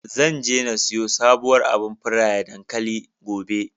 Zan je na siyo sabuwar abar feraye dankali, gobe.